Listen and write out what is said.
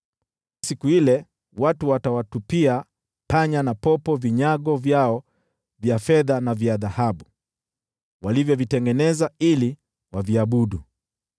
Siku ile, watu watawatupia panya na popo sanamu zao za fedha na za dhahabu, walizozitengeneza ili waziabudu.